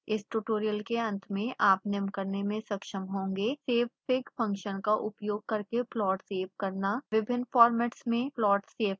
इस ट्यूटोरियल के अंत में आप निम्न करने में सक्षम होंगे